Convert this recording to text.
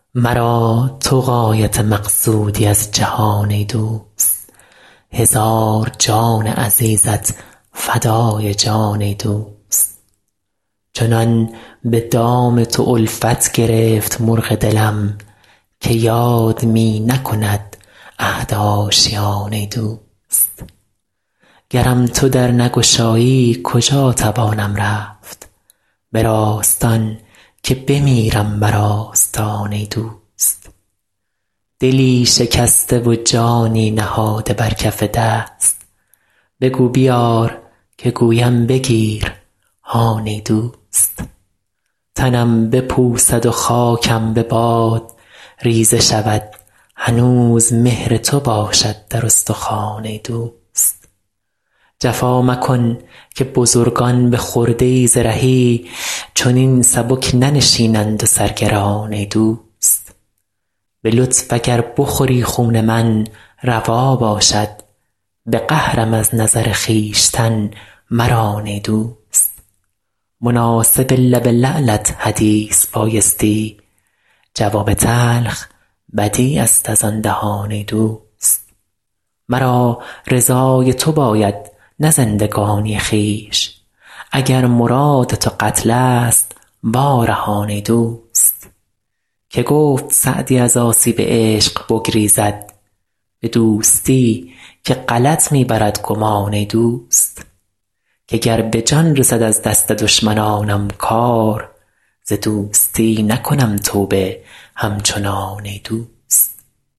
مرا تو غایت مقصودی از جهان ای دوست هزار جان عزیزت فدای جان ای دوست چنان به دام تو الفت گرفت مرغ دلم که یاد می نکند عهد آشیان ای دوست گرم تو در نگشایی کجا توانم رفت به راستان که بمیرم بر آستان ای دوست دلی شکسته و جانی نهاده بر کف دست بگو بیار که گویم بگیر هان ای دوست تنم بپوسد و خاکم به باد ریزه شود هنوز مهر تو باشد در استخوان ای دوست جفا مکن که بزرگان به خرده ای ز رهی چنین سبک ننشینند و سر گران ای دوست به لطف اگر بخوری خون من روا باشد به قهرم از نظر خویشتن مران ای دوست مناسب لب لعلت حدیث بایستی جواب تلخ بدیع است از آن دهان ای دوست مرا رضای تو باید نه زندگانی خویش اگر مراد تو قتل ست وا رهان ای دوست که گفت سعدی از آسیب عشق بگریزد به دوستی که غلط می برد گمان ای دوست که گر به جان رسد از دست دشمنانم کار ز دوستی نکنم توبه همچنان ای دوست